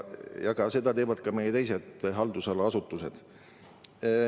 Seda teevad ka meie teised haldusala asutused.